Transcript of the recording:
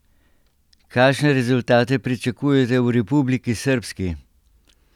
Kakšne rezultate pričakujete v Republiki srbski?